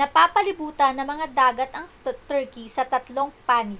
napapalibutan ng mga dagat ang turkey sa tatlong panig